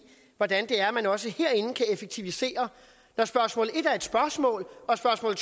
hvordan man også herinde kan effektivisere når spørgsmål nummer en var et spørgsmål og spørgsmål